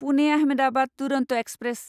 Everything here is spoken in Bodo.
पुने आहमेदाबाद दुरन्त एक्सप्रेस